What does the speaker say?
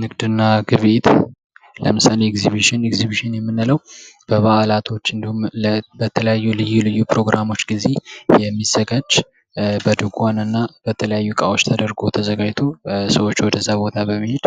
ንግድና ግብይት፦ ለምሳሌ እግዚቢሽን ፡ ኤግዚቢሽን የምንለው በበዓላቶች እንዲሁም በተለያዩ ልዩ ልዩ ፕሮግራሞች ጊዜ የሚዘጋጅ በድንኳን እና በተለታየ እቃዎች ተደርጎ ተዘጋጅቶ ለሰዎች ወደዚያ ቦታ በመሄድ